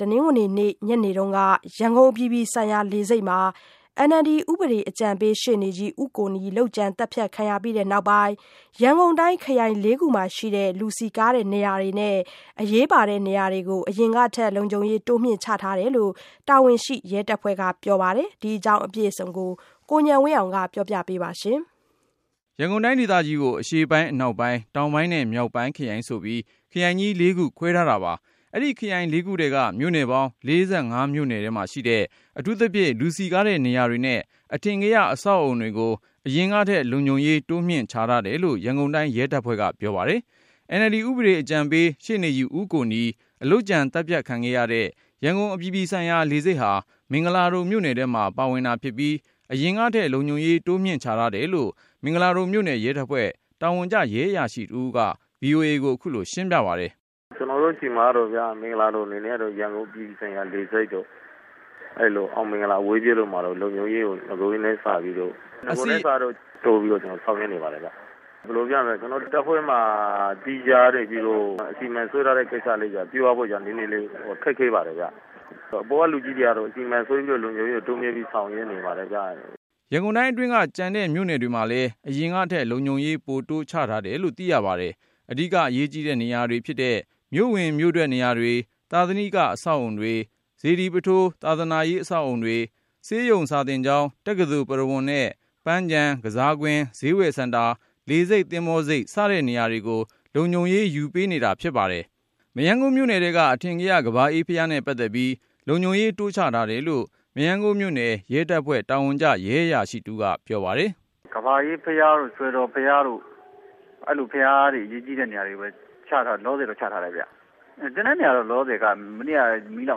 တနင်္ဂနွေနေ့ ညနေက ရန်ကုန်အပြည်ပြည်ဆိုင်ရာလေဆိပ်မှာ NLD ဥပဒေအကြံပေး ရှေ့နေကြီး- ဦးကိုနီ လုပ်ကြံသတ်ဖြတ်ခံရပြီး နောက်ပိုင်း ရန်ကုန်တိုင်း ခရိုင် ၄ခုမှာရှိတဲ့ လူစည်ကားတဲ့နေရာတွေနဲ့ အရေးပါတဲ့နေရာတွေကို အရင်ထက် လုံခြုံရေးတိုးမြှင့်ချထားကြောင်း တာဝန်ရှိရဲတပ်ဖွဲ့က ပြောပါတယ်။ ဒီအကြောင်းကိုတော့ ကိုဉာဏ်ဝင်းအောင်က ပြောပြမှာပါ။ ရန်ကုန်တိုင်းဒေသကြီးကို အရှေ့ပိုင်း၊ အနောက်ပိုင်း၊ တောင်ပိုင်းနဲ့ မြောက်ပိုင်းခရိုင်ဆိုပြီး ခရိုင်ကြီး ၄ ခုခွဲထားတာပါ။ အဲဒီခရိုင် ၄ ခုထဲက မြို့နယ်ပေါင်း ၄၅ မြို့နယ်မှာရှိတဲ့ အထူးသဖြင့် လူစည်ကားတဲ့နေရာတွေနဲ့ အထင်ကရ အဆောက်အဦတွေကို အရင်ကထက် လုံခြုံရေးတိုးမြှင့် ချထားတယ်လို့ ရန်ကုန်တိုင်းရဲတပ်ဖွဲ့ထံကပြောပါတယ်။ NLD ဥပဒေအကြံပေး ရှေ့နေကြီး ဦးကိုနီ လုပ်ကြံသတ်ဖြတ်ခံခဲ့ရတဲ့ ရန်ကုန်အပြည်ပြည်ဆိုင်ရာ လေဆိပ်ဟာ မင်္ဂလာဒုံမြို့နယ်ထဲမှာ ပါဝင် တာ ဖြစ်ပြီး အရင်ကထက် လုံခြုံရေးတိုးမြှင့်ချထားတယ်လို့ မင်္ဂလာဒုံမြို့နယ်ရဲတပ်ဖွဲ့ တာဝန်ကျ ရဲအရာရှိတဦးကို VOA ကိုခုလိုရှင်းပြပါတယ်။ “ကျနော်တို့ဆီမှာတော့ မင်္ဂလာဒုံအနေနဲ့ကတော့ ရန်ကုန်အပြည်ပြည်ဆိုင်ရာ လေဆိပ်တို့၊ အောင်မင်္ဂလာအဝေးပြေးတို့မှာတော့ လုံခြုံရေးကို နဂိုထက်စာရင် တိုးပြီးတော့ ဆောင်ရွက်နေပါတယ်ခင်ဗျ။ ဘယ်လိုပြောရမလဲ ကျနော်တို့တပ်ဖွဲ့မှာ သီးခြားအစီအမံ ပြုဖို့ နည်းနည်းလေး ခက်ခဲပါတယ်ခင်ဗျ။ အပေါ်ကလူကြီးတွေကတော့ အစီအမံဆွဲပြီး တိုးမြင့်ပြီးဆောင်ရွက်နေပါတယ်ခင်ဗျ။” ရန်ကုန်တိုင်းအတွင်းက ကျန်တဲ့မြို့နယ်တွေမှာလည်း အရင်ကထက် လုံခြုံရေးပိုတိုး ချထားတယ်လို့ သိရပါတယ်။ အဓိက အရေးကြီးတဲ့ နေရာတွေဖြစ်တဲ့ မြို့ဝင်မြို့အထွက်နေရာတွေ၊ သာသနိက အဆောက်အဦးတွေ၊ စေတီပုထိုး ဘာသာရေး အဆောက် အဦတွေ၊ ဆေးရုံ စာသင်ကျောင်း၊ တက္ကသိုလ် ပုရဝုဏ်နဲ့ ပန်းခြံ ကစားကွင်း၊ ဈေးဝယ်စင်တာ၊ လေဆိပ်၊ သင်္ဘောဆိပ် စတဲ့နေရာတွေကို လုံခြုံရေးယူပေး နေတာဖြစ်ပါတယ်။ မရမ်းကုန်းမြို့နယ်ထဲက အထင်ကရ ကမ္ဘာအေးဘုရားနဲ့ပတ်သက်ပြီး လုံခြုံရေးတိုးချထားတယ်လို့ မရမ်းကုန်းမြို့နယ် ရဲတပ်ဖွဲ့ တာဝန်ကျ ရဲအရာရှိတဦးကို ပြောပါတယ်။ “ကမ္ဘာအေးဘုရားတို့ စွယ်တော်ဘုရားတို့ အဲဒီလို အရေးကြီးတဲ့ ဘုရားနေရာတွေကိုပဲ လောလောဆယ်ချထားတယ်၊ ကျန်တဲ့နေရာကတော့ လောလောဆယ်က မနေ့က မီးလော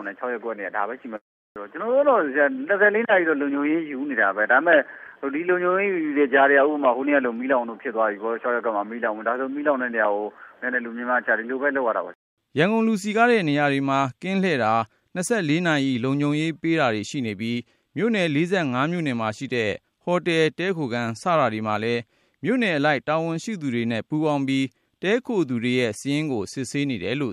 င်တဲ့ ၆ ရပ်ကွက်နဲ့ ဒါပဲရှိမယ်။ ကျွန်တို့ကတော့ ၂၄ နာရီ တော့ လုံခြုံရေးယူနေတာပဲ ဒါပေမယ့် ဒီ လုံခြုံရေးယူတဲ့ကြားထဲက ဥပမာ ဟိုနေ့ကလို ၆ ရပ်ကွက်မှာ မီးလောင်မှုဖြစ်သွားတာတို့ အဲလိုမီးလောင်တဲ့နေရာမှာ လူများများချ ဒီလိုပဲ လုပ်ရတာပဲ။” ရန်ကုန် လူစည်ကားတဲ့နေရာတွေမှာ ကင်းလှည်တာ ၂၄နာရီ လုံခြုံရေးပေးတာတွေ ရှိနေပြီး၊ မြို့နယ် ၄၅ မြို့နယ်မှာရှိတဲ့ ဟိုတယ် တည်းခိုခန်း စတာတွေမှာလည်း မြို့နယ်အလိုက် တာဝန်ရှိသူတွေပူးပေါင်းပြီး တည်းခိုသူတွေရဲ့ စာရင်းစစ်ဆေးနေပါတယ် ။